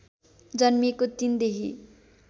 जन्मिएको ३ देखि